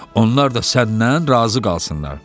Onlar da səndən razı qalsınlar.